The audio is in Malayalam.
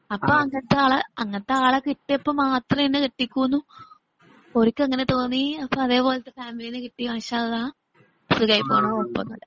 അപ്പൊ അങ്ങനത്തെ ആളെ അങ്ങനത്തെ ആളെ കിട്ടിയപ്പം മാത്രാണ് എന്നെ കെട്ടിക്കുന്നു ഒരിക്കങ്ങനെ തോന്നി അതേപോലെതന്നെ ഫാമിലിനെ കിട്ടി മാഷാ അള്ളാ. സുഖയിപ്പോകുന്നു കുഴപ്പമൊന്നുമില്ല.